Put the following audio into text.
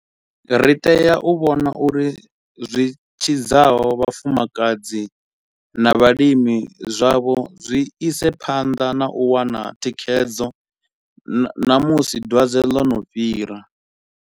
Ri tea u vhona uri zwi tshidzaho vhafumakadzi na vhalimi zwavho zwi ise phanḓa na u wana thikhedzo na musi dwadze ḽo no fhira.